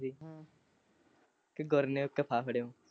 ਇਕ ਗੁਰਨੇਉ ਇਕ ਗੁਰਨੇਉ ਫਾਫੜਯੋਿ।